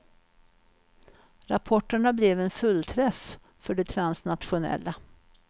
Rapporterna blev en fullträff för de transnationella.